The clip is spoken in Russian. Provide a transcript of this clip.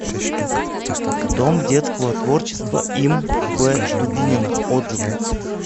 дом детского творчества им в дубинина отзывы